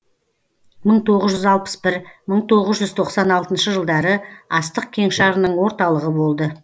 мың тоғыз жүз алпыс бір мың тоғыз жүз тоқсан алтыншы жылдары астық кеңшарының орталығы болды